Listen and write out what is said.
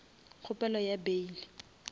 kgopelo ya bail